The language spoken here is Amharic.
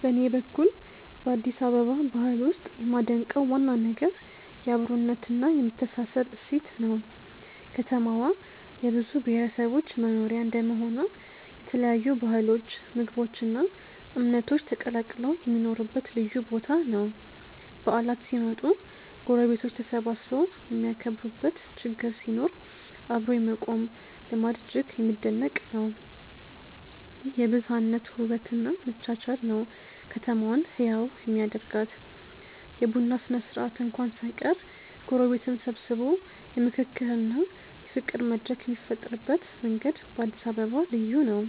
በኔ በኩል በአዲስ አበባ ባህል ውስጥ የማደንቀው ዋና ነገር የአብሮነትና የመተሳሰብ እሴት ነው። ከተማዋ የብዙ ብሔረሰቦች መኖሪያ እንደመሆኗ የተለያዩ ባህሎች ምግቦች እና እምነቶች ተቀላቅለው የሚኖሩበት ልዩ ቦታ ነው። በዓላት ሲመጡ ጎረቤቶች ተሰባስበው የሚያከብሩበት ችግር ሲኖር አብሮ የመቆም ልማድ እጅግ የሚደነቅ ነው። ይህ የብዝሃነት ውበት እና መቻቻል ነው ከተማዋን ህያው የሚያደርጋት። የቡና ስነ-ስርዓት እንኳን ሳይቀር ጎረቤትን ሰብስቦ የምክክርና የፍቅር መድረክ የሚፈጥርበት መንገድ በአዲስ አበባ ልዩ ነው።